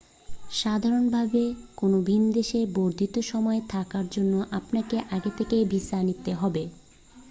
সাধারণভাবে কোন ভিনদেশে বর্ধিত সময়ে থাকার জন্য আপনাকে আগে থেকেই ভিসা নিতে হবে